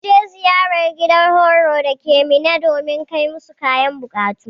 Mun je ziyara gidan horo dake minna domin kai musu kayan bukatu.